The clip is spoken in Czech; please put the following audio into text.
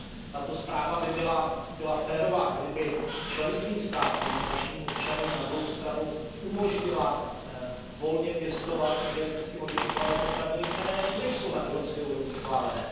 Tato zpráva by byla férová, kdyby členským státům a našim občanům na druhou stranu umožnila volně pěstovat i geneticky modifikované potraviny, které nejsou na evropské úrovni schválené.